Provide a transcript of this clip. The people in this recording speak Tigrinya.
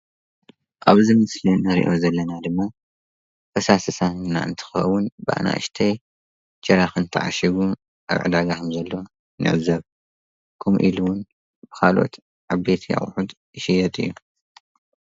ኣብዚ ምስሊ እንሪኣ ዘለና ድማ ፈሳሲ ሳሙና እንትኸዉን ብኣናእሽተይ ጀራካን ዝተዓሸጉ ኣብ ዕዳጋ ከም ዘለዉ ንዕዘብ። ከምኡ እዉን ካልኦት ዓበይቲ ኣቑሑት ይሽየጥ እዩ።